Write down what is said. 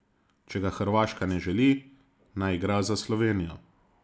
Če ga Hrvaška ne želi, naj igra za Slovenijo.